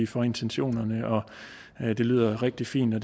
for intentionerne og at det lyder rigtig fint og